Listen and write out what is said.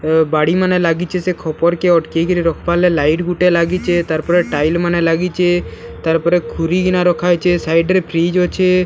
ଏ ବାଡ଼ିମାନେ ଲାଗିଛେ ସେ ଖପର୍‌ କେ ଅଟକେଇ କରି ରଖବାର୍‌ ଲାଗି ଲାଇଟ ଗୁଟେ ଲାଗିଛେ ତାର୍‌ ପରେ ଟାଇଲ ମାନେ ଲାଗିଛେ ତାର ପରେ ଖୁରୀ ଗିନା ରଖା ହେଇଛେ ସାଇଡ୍ ରେ ଫ୍ରିଜ ଅଛେ --